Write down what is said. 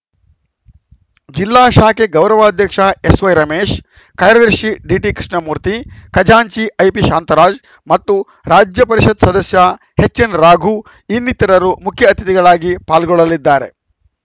ಜಿಲ್ಲಾ ಶಾಖೆ ಗೌರವಾಧ್ಯಕ್ಷ ಎಸ್‌ವೈ ರಮೇಶ್‌ ಕಾರ್ಯದರ್ಶಿ ಡಿಟಿ ಕೃಷ್ಣಮೂರ್ತಿ ಖಜಾಂಚಿ ಐಪಿ ಶಾಂತರಾಜ್‌ ಮತ್ತು ರಾಜ್ಯ ಪರಿಷತ್‌ ಸದಸ್ಯ ಹೆಚ್‌ಎನ್‌ ರಾಘು ಇನ್ನಿತರರು ಮುಖ್ಯ ಅತಿಥಿಗಳಾಗಿ ಪಾಲ್ಗೊಳ್ಳಲಿದ್ದಾರೆ